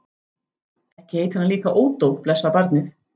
Ekki heitir hann líka Ódó, blessað barnið.